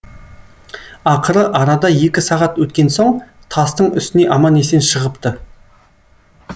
ақыры арада екі сағат өткен соң тастың үстіне аман есен шығыпты